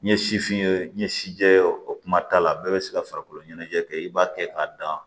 N ye sifin ye n ye si jɛ o kuma t'a la bɛɛ bɛ se ka farikolo ɲɛnajɛ kɛ i b'a kɛ k'a dan